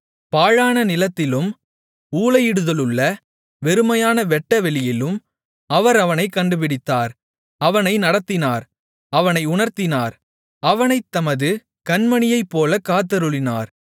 பாழான நிலத்திலும் ஊளையிடுதலுள்ள வெறுமையான வெட்டவெளியிலும் அவர் அவனைக் கண்டுபிடித்தார் அவனை நடத்தினார் அவனை உணர்த்தினார் அவனைத் தமது கண்மணியைப் போலக் காத்தருளினார்